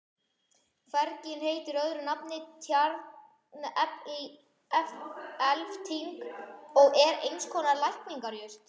Fergin heitir öðru nafni tjarnelfting og er eins konar lækningajurt.